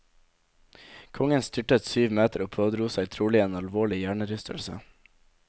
Kongen styrtet syv meter og pådro seg trolig en alvorlig hjernerystelse.